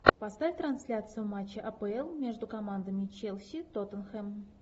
поставь трансляцию матча апл между командами челси тоттенхэм